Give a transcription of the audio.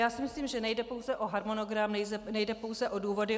Já si myslím, že nejde pouze o harmonogram, nejde pouze o důvody.